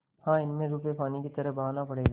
हाँ इसमें रुपये पानी की तरह बहाना पड़ेगा